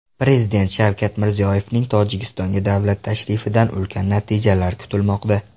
Prezident Shavkat Mirziyoyevning Tojikistonga davlat tashrifidan ulkan natijalar kutilmoqda.